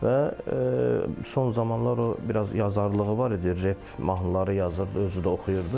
Və son zamanlar o biraz yazarlığı var idi, rep mahnıları yazırdı, özü də oxuyurdu.